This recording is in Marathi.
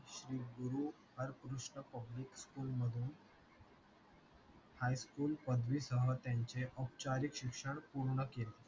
श्री गुरु हरकृष्ण public school मधून high school पदवी सह त्याचे औपचारिक शिक्षण पूर्ण केले